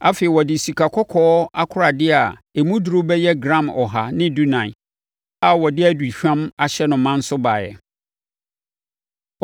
Afei, ɔde sikakɔkɔɔ akoradeɛ a emu duru bɛyɛ gram ɔha ne dunan (114) a wɔde aduhwam ahyɛ no ma nso baeɛ.